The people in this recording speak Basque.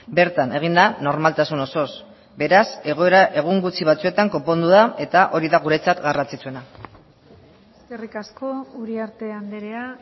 bertan egin da normaltasun osoz beraz egoera egun gutxi batzuetan konpondu da eta hori da guretzat garrantzitsuena eskerrik asko uriarte andrea